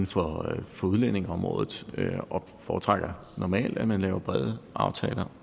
for for udlændingeområdet og foretrækker normalt at man laver brede aftaler